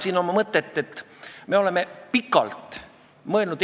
See oli vist 7. september, kui me arutasime siin eesti keele positsiooni, eesti keele õpetamist.